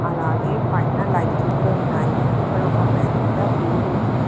అలాగే పైన లైట్ కూడా ఉన్నాయి ఇక్కడ ఒక పెద్ద బోర్డు ఉంది.